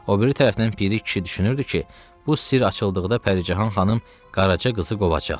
O biri tərəfdən Piri kişi düşünürdü ki, bu sirr açıldıqda Pəricahan xanım Qaraca qızı qovacaq.